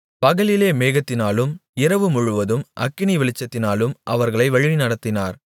பகலிலே மேகத்தினாலும் இரவுமுழுவதும் அக்கினி வெளிச்சத்தினாலும் அவர்களை வழிநடத்தினார்